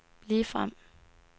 ligefrem